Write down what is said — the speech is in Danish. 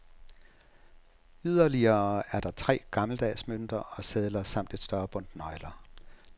Yderligere er der de gammeldags mønter og sedler samt et større bundt nøgler.